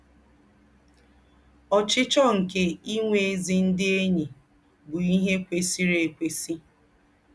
Ọ́chíchọ́ nké ìnwé ézí ndí́ éṇyí bú íhé kwèsírì ékwèsí.